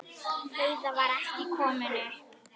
Heiða var ekki komin upp.